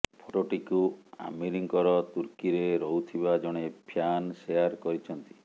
ଫଟୋଟିକୁ ଆମୀରଙ୍କର ତୁର୍କୀରେ ରହୁଥିବା ଜଣେ ଫ୍ୟାନ୍ ଶେଆର୍ କରିଛନ୍ତି